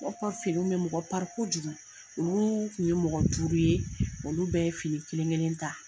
Ko aw ka finiw bɛ mɔgɔ kojugu olu kun ye mɔgɔ duuru ye olu bɛɛ ye fini kelen kelen ta.